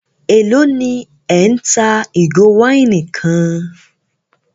Élò ní ẹ́ ń ta ìgò wáìnì kan?